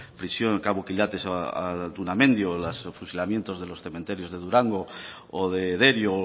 prisión cabo quilates o altuna mendi o los fusilamiento de los cementerios de durango o de derio o